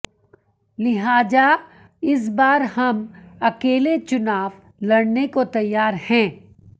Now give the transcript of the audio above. लिहाजा इस बार हम अकेले चुनाव लडऩे को तैयार हैं